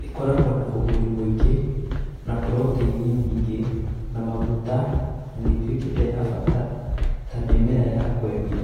Ĩkoragwo na ũguni mũingĩ na puroteini nyingĩ na maguta na nĩĩtuĩkĩte ya bata ta mĩmera ya kwendio